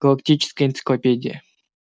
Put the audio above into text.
галактическая энциклопедия